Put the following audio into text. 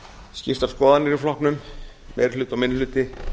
skiptar skoðanir í flokknum meiri hluti og minni hluti